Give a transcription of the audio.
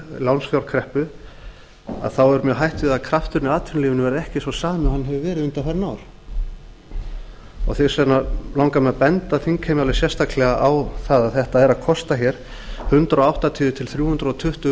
lánsfjárkreppu þá er mjög hætt við að krafturinn í atvinnulífinu verði ekki sá sami og hann hefur verið undanfarin ár þess vegna langar mig til að benda þingheimi alveg sérstaklega á það að þetta er að kosta hundrað áttatíu til þrjú hundruð tuttugu